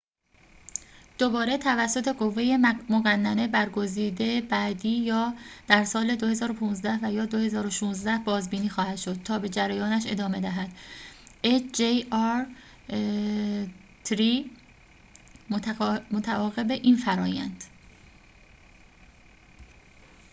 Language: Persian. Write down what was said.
متعاقب این فرآیند hjr-۳ دوباره توسط قوّه مقننه برگزیده بعدی یا در سال ۲۰۱۵ و یا ۲۰۱۶ بازبینی خواهد شد تا به جریانش ادامه دهد